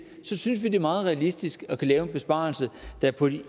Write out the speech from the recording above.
synes vi det er meget realistisk at kunne lave en besparelse der på de